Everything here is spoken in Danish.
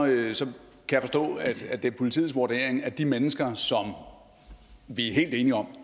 kan jeg forstå at det politiets vurdering at de mennesker som vi er helt enige om